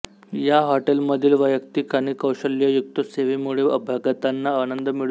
या हॉटेलमधील वैयक्तिक आणि कौशल्ययुक्त सेवेमुळे अभ्यागतांना आनंद मिळतो